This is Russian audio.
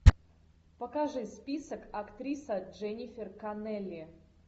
покажи список актриса дженнифер коннелли